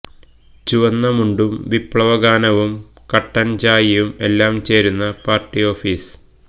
ചുവന്ന മുണ്ടും വിപ്ലവഗാനവും കട്ടന് ചായയും എല്ലാം ചേരുന്ന പാര്ട്ടി ഓഫീസ്